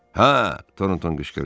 Hə, Tornton qışqırdı.